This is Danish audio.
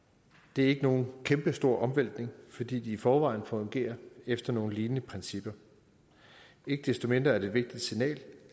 det er ikke nogen kæmpestor omvæltning fordi de i forvejen fungerer efter nogle lignende principper ikke desto mindre er det et vigtigt signal